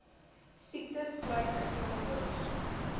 siektes sluit geelkoors